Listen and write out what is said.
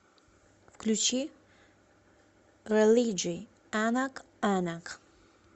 включи рэлиджи анак анак